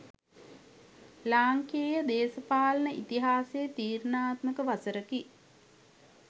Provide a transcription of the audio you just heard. ලාංකේය දේශපාලන ඉතිහාසයේ තීරණාත්මක වසරකි